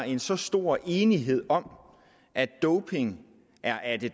en så stor enighed om at doping er af det